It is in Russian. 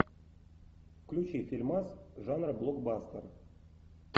включи фильмас жанра блокбастер